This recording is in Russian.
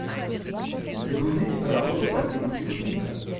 загрузи киноработу по типу чик флика